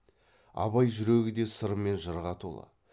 абай жүрегі де сыр мен жырға толы